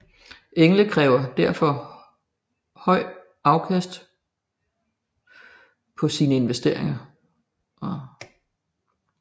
Engle kræver derfor høj afkast på sine investeringer